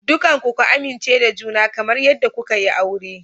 Dukanku ku amince da juna kamar yadda kuka yi aure.